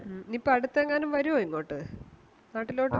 ഉം ഇനിപ്പോ അടുത്തെങ്ങാനും വരുവോ ഇങ്ങോട്ട് നാട്ടിലോട്ട്